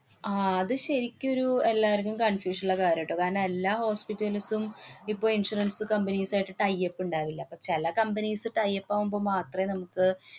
ആഹ് അതും ശരിക്കും ഒരു എല്ലാര്‍ക്കും confusion ള്ള കാര്യാട്ടോ. കാണം, എല്ലാ hospital കള്ക്കും ഇപ്പൊ insurance companies ആയിട്ട് tie up ഇണ്ടാവില്ല. അപ്പ ചെല companies tie up ആവുമ്പോ മാത്രമേ നമുക്ക്